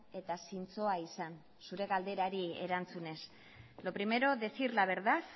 eta zintzoa izan zure galderari erantzunez lo primero decir la verdad